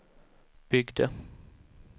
byggde